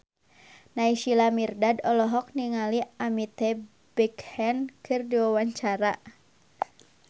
Naysila Mirdad olohok ningali Amitabh Bachchan keur diwawancara